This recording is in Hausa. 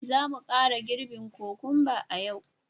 Za mu kara girbi kokumba a yau